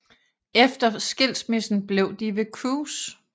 Efter skilsmissen blev de ved Cruise